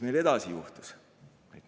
Mis edasi juhtus?